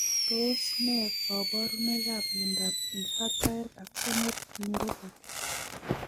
Tos ne kaborunoikap miondop infantile axonal neuropathy?